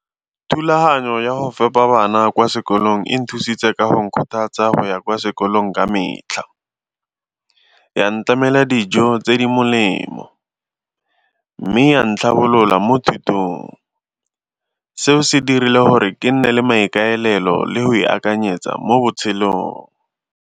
Thulaganyo ya go fepa bana kwa sekolong e nthusitse ka go nkgothatsa go ya kwa sekolong ka metlha, ya ntlamela dijo tse di molemo mme ya ntlhabolola mo thutong. Seo se dirile gore ke nne le maikaelelo le go ipakanyetsa mo botshelong.